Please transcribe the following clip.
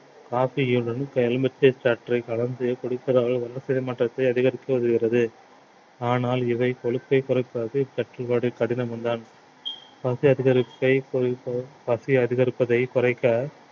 coffee யிலும் எலுமிச்சைச் சாற்றைக் கலந்து குடிப்பதால் வளர்சிதை மாற்றத்தை அதிகரிக்க உதவுகிறது ஆனால் இவை கொழுப்பைக் குறைப்பது சற்று வடி~ கடினமும்தான் பசி அதிகரிப்பை பசி அதிகரிப்பதை குறைக்க